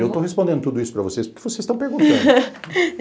Eu estou respondendo tudo isso para vocês, porque vocês estão perguntando.